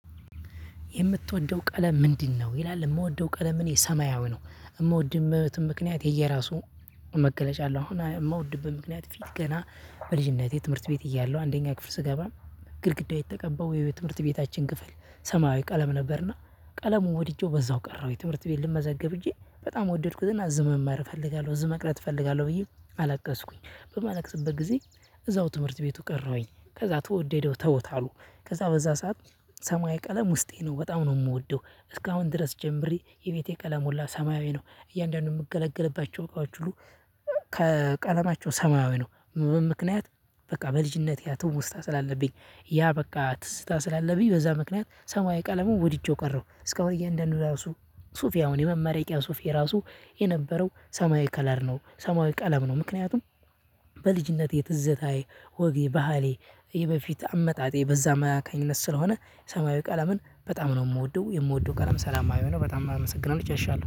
የምትወደው ቀለም ምንድነው? ይላል የምወደው ቀለም እኔ ሰማያዊ ነው የምወድበትም ምክንያት የየራሱ መገለጫ አለው። አሁን የምወድበት ምክንያት ፊት ገና በልጅነቴ ትምህርት ቤት እያለሁ አንደኛ ክፍል ስገባ ግድግዳው የተቀበለው የትምህርት ቤታችን ክፍል ሰማያዊ ቀለም ነበርና ቀለሙ ወድጄው በዛው ቀረሁ። የትምህርት ቤት ልመዘግብ ሄጄ በጣም ወደድኩትና እዝ መማር እፈልጋለሁ እዝ መቅረት እፈልጋለሁ ብዬ አላቀስኩኝ በማላቅስበት ጊዜ እዛው ትምህርት ቤቱ ቀረሁኝ ከዛ ተወደደው ተውት አሉ። ከዛ በዛ ሰዓት ሰማያዊ ቀለም ውስጤ ነው በጣም ነው የምወደው። እስካሁን ድረስ ጀምሬ የቤቴ ቀለም ሁላ ሰማያዊ ነው እያንዳንዱን የምገለገልባቸው እቃዎች ሁሉ ከቀለማቸው ሰማያዊ ነው። ምክንያት በቃ በልጅነቴ ያ ትውስታ ስላለብኝ ያ በቃ ትዝታ ስላለብኝ በዛ ምክንያት ሰማያዊ ቀለሙን ወድጄው ቀረው። እስከ አሁን እያንዳንዱ ራሱ ሱፌ አሁን የመመረቂያ ሱፌ ራሱ የነበረው ሰማያዊ ከለር ነው ሰማያዊ ቀለም ነው። ምክንያቱም በልጅነቴ ትዝታዬ ወጌ ባህሌ የበፊት አመጣጤ በዛ አማካኝነት ስለሆነ ሰማያዊ ቀለምን በጣም ነው የምወደው የምወደው ቀለም ሰላማዊ ነው። በጣም አመሰግናለሁ ጨርሻለሁ